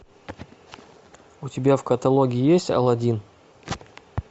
у тебя в каталоге есть аладдин